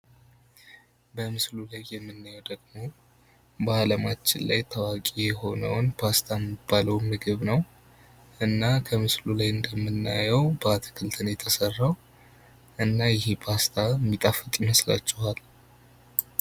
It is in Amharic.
በምስሉ ላይ የምንመለከተው ደግሞ በአለማችን ታዋቂ የሆነው ፓስታ የሚባለው ምግብ ነው። እና ከምስሉ ላይ እንደምናየው በአትክልት ነው የተሰራው እና ይሄ ፓስታ የሚጣፍጥ ይመስላችኋል?